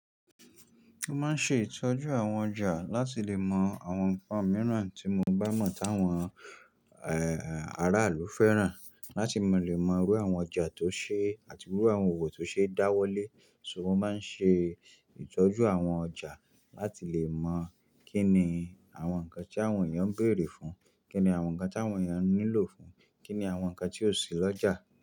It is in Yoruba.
Mo máa ń ṣe ìtọ́jú àwọn ọjà láti lè mọ àwọn nǹkan mìíràn tí mo bá mọ̀ tí àwọn, ẹ, aráàlú fẹ́ràn. Láti lè mọ irú àwọn ọjà tó ṣi àti irú àwọn òwò tó ṣe dáwọ́lé. Sugbon, mo máa ń ṣe ìtọ́jú àwọn ọjà láti lè mọ̀ kíni àwọn nǹkan tí àwọn èèyàn ń bèèrè fún, kíni àwọn nǹkan tí àwọn èèyàn nílò fún, kíni àwọn nǹkan tí o sì lọ́jà.